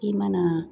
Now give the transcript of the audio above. I mana